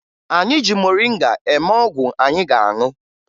Anyị ji moringa eme ọgwụ anyị ga-aṅụ